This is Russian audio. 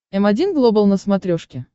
м один глобал на смотрешке